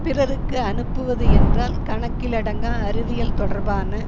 பிறருக்கு அனுப்புவது என்றால் கணக்கிலடங்கா அறிவியல் தொடர்பான